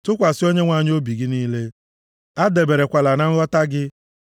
Tụkwasị Onyenwe anyị obi gị niile, adaberekwala na nghọta gị.